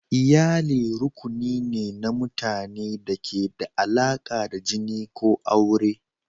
Iyali rukuni ne na mutanen da ke da alaƙa da jini ko aure.